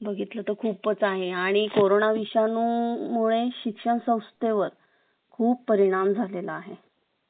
बघितलं तर खूपच आहे आणि कोरोना विषाणू मुळे शिक्षण संस्थेवर खूप परिणाम झालेला आहे